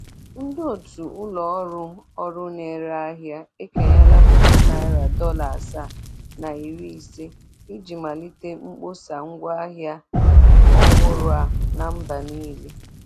Ndị otu ụlọ ọrụ ọrụ na-ere ahịa ekenyela puku nari dọla asaa na iri-ise, iji malite mkpọsa ngwaahịa ọhụrụ a na mba niile.